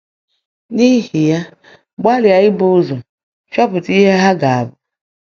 N’ihi ya, gbalịa ibu ụzọ chọpụta ihe ha ga-abụ.